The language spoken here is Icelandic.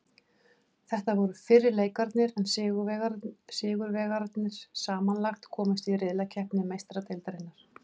Þetta voru fyrri leikirnir en sigurvegararnir samanlagt komast í riðlakeppni Meistaradeildarinnar.